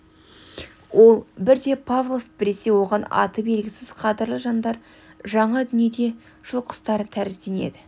ол бірде павлов біресе оған аты белгісіз қадірлі жандар жаңа дүние жыл құстары тәрізденеді